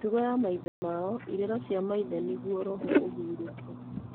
mĩtugo ya maithe mao irĩra cia maithe nĩguo roho ĩhuurũke.